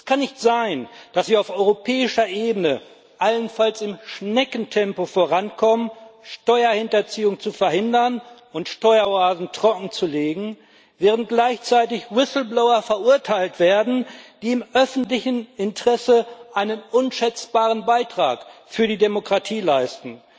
Es kann nicht sein, dass wir auf europäischer Ebene allenfalls im Schneckentempo vorankommen, Steuerhinterziehung zu verhindern und Steueroasen trockenzulegen, während gleichzeitig Whistleblower verurteilt werden, die im öffentlichen Interesse einen unschätzbaren Beitrag für die Demokratie leisten.